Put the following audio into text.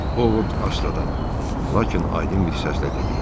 Ovod astadan, lakin aydın bir səslə dedi: